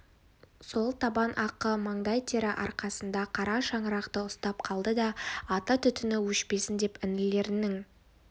сол табан ақы маңдай тері арқасында қара шаңырақты ұстап қалды да ата түтіні өшпесін деп інілерінің